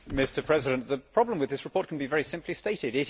Mr President, the problem with this report can be very simply stated.